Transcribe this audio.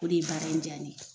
O de ye baara in diya ne ye.